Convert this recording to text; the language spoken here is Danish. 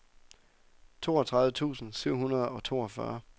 toogtredive tusind syv hundrede og toogfyrre